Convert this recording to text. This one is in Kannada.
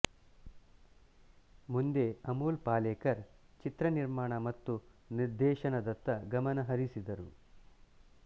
ಮುಂದೆ ಅಮೋಲ್ ಪಾಲೇಕರ್ ಚಿತ್ರ ನಿರ್ಮಾಣ ಮತ್ತು ನಿರ್ದೇಶನದತ್ತ ಗಮನ ಹರಿಸಿದರು